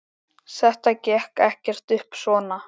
Þetta gekk ekkert upp svona.